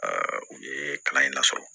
u ye kalan in na fɔlɔ